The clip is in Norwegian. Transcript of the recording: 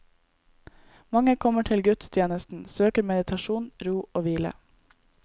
Mange kommer til gudstjenestene, søker meditasjon, ro og hvile.